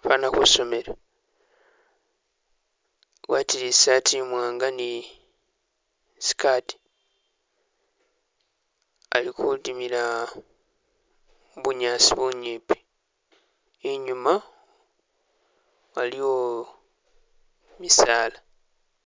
fwana kwisomero. Agwatile i'sati imwanga ni i'skirt, ali kudimila mu bunyaasi bunyipi, inyuuma aliwo misala.